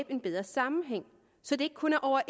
en bedre sammenhæng så det ikke kun er over